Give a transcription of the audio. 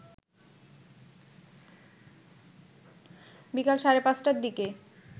বিকাল সাড়ে ৫টার দিকে